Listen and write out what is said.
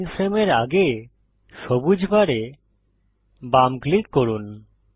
current frame এর আগে সবুজ বারে বাম ক্লিক করুন